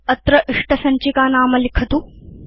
अत्र इष्टसञ्चिकानाम लिखतु